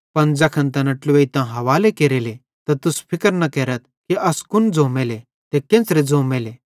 पन ज़ैखन तैना ट्लुवेइतां हावाले केरेले त तुस फिक्र न केरथ कि अस कुन ज़ोमेले ते केन्च़रे ज़ोमेले किजोकि ज़ैन किछ ज़ोनू भोलू तैखने अवं तुसन ज़ोइलो